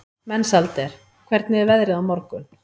Mensalder, hvernig er veðrið á morgun?